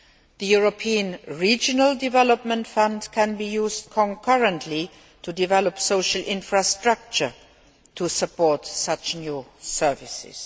The European Regional Development Fund can be used concurrently to develop social infrastructure to support such new services.